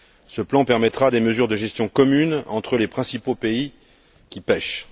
Ce plan permettra des mesures de gestion commune entre les principaux pays qui pêchent.